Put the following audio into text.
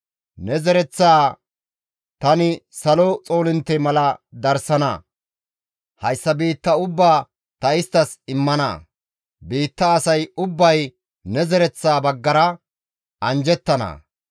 Ne zereththaa tani salo xoolintte mala darsana; hayssa biitta ubbaa ta isttas immana; biitta asay ubbay ne zereththaa baggara anjjettana.